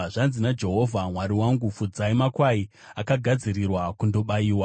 Zvanzi naJehovha Mwari wangu: “Fudzai makwai akagadzirirwa kundobayiwa.